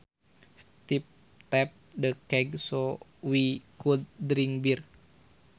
Steve tapped the keg so we could drink beer